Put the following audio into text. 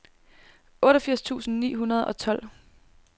otteogfirs tusind ni hundrede og tolv